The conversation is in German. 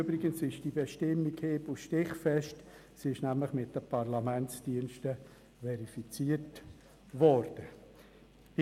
Übrigens ist die Bestimmung hieb- und stichfest, da sie von den Parlamentsdiensten verifiziert worden ist.